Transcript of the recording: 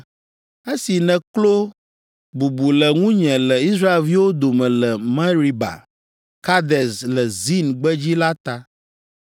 esi nèklo bubu le ŋunye le Israelviwo dome le Meriba Kades le Zin gbedzi la ta.